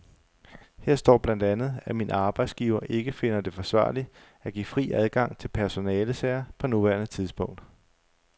Her står blandt andet, at min arbejdsgiver ikke finder det forsvarligt at give fri adgang til personalesager på nuværende tidspunkt.